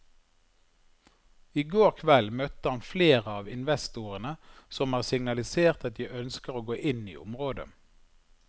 I går kveld møtte han flere av investorene som har signalisert at de ønsker å gå inn i området.